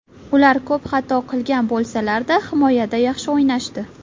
Ular ko‘p xato qilgan bo‘lsalarda, himoyada yaxshi o‘ynashdi.